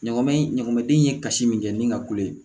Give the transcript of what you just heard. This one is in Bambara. Ɲama in ɲɔgɔn den ye kasi min kɛ ni ka kule